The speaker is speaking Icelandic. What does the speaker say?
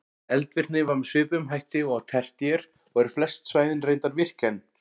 Eldvirkni var með svipuðum hætti og á tertíer og eru flest svæðin reyndar virk enn.